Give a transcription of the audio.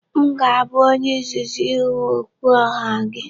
M ga-abụ onye izizi ịhụ okwuoha gị.